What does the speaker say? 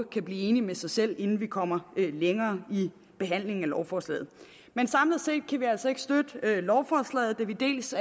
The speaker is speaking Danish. kan blive enig med sig selv inden vi kommer længere i behandlingen af lovforslaget men samlet set kan vi altså ikke støtte lovforslaget da vi dels